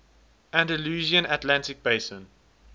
andalusian atlantic basin